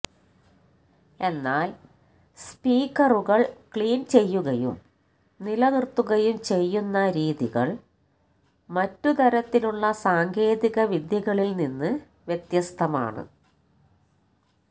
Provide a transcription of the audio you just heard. എന്നാൽ സ്പീക്കറുകൾ ക്ലീൻ ചെയ്യുകയും നിലനിർത്തുകയും ചെയ്യുന്ന രീതികൾ മറ്റ് തരത്തിലുള്ള സാങ്കേതികവിദ്യകളിൽ നിന്ന് വ്യത്യസ്തമാണ്